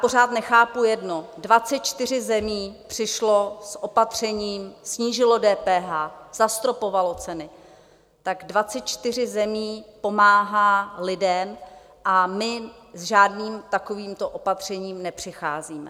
Pořád nechápu jedno: 24 zemí přišlo s opatřením, snížilo DPH, zastropovalo ceny, tak 24 zemí pomáhá lidem a my s žádným takovýmto opatřením nepřicházíme.